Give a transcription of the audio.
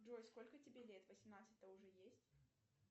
джой сколько тебе лет восемнадцать то уже есть